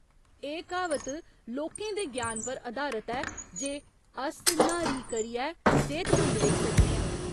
एह् क्हावत लोकें दे ज्ञान पर अधारत ऐ जे अस न्हारी करियै सेह्तमंद रेही सकने आं।